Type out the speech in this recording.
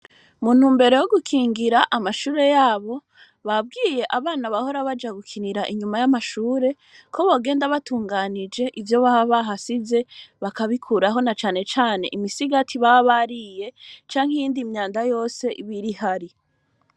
Muntu mbere yo gukingira amashure yabo babwiye abana bahora baja gukinira inyuma y'amashure ko bogenda batunganije ivyo baba bahasize bakabikuraho na canecane imisigati babariye canke iyindi myanda yose ibiri hari.